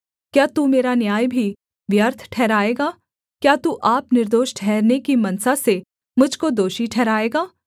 क्या तू मेरा न्याय भी व्यर्थ ठहराएगा क्या तू आप निर्दोष ठहरने की मनसा से मुझ को दोषी ठहराएगा